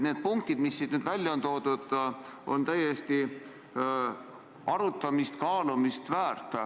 Need punktid, mis siin nüüd välja on toodud, on igati arutamist ja kaalumist väärt.